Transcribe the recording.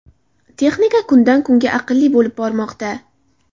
Texnika kundan kunga aqlli bo‘lib bormoqda.